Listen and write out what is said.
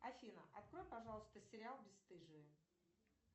афина открой пожалуйста сериал бесстыжие